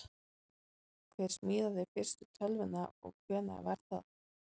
hver smíðaði fyrstu tölvuna og hvenær var það